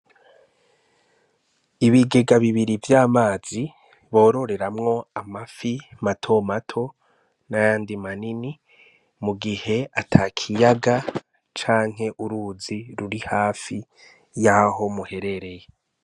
Ibigega bibiri vy'amazi bororeramwo amafi matomato n'ayandi manini mu gihe ata kiyaga canke uruzi ruri hafi yaho muherereye.